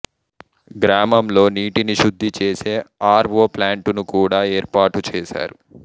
గ్రామంలో నీటిని శుద్ధి చెసే అర్ ఓ ప్లాంటూను కూడా ఏర్పాటూ చేసారు